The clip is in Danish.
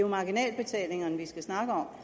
marginalbetalingerne vi skal snakke om